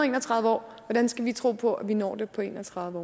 en og tredive år hvordan skal vi tro på at vi når det på en og tredive